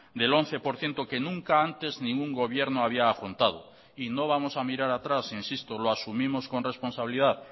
del once por ciento que nunca antes ningún gobierno había afrontado y no vamos a mirar atrás insisto lo asumimos con responsabilidad